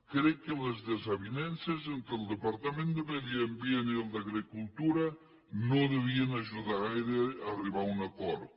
crec que les desavinences entre el departament de medi ambient i el d’agricultura no devien ajudar gaire a arribar a un acord